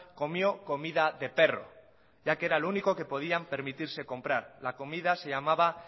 comió comida de perro ya que era lo único que podían permitirse comprar la comida se llamaba